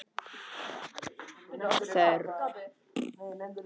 Yfirleitt er ekki þörf neinnar sérstakrar meðferðar við martröðum.